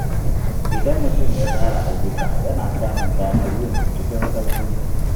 Idan mutum ya tsara ayyuka, yana samun damar yin su cikin sauƙi.